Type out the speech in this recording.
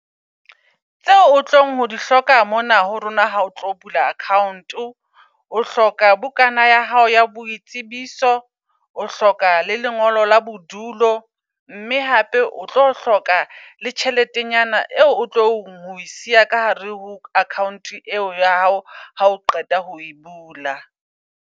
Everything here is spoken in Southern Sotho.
Tseo o tlong ho di hloka, mona ho rona ha o tlo bula account-o. O hloka bukana ya hao ya boitsebiso, o hloka le lengolo la bodulo. Mme hape o tlo hloka le tjheletenyana eo otlo ho e siya ka hare ho account eo ya hao ha o qeta ho e bula.